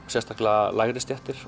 sérstaklega lægri stéttir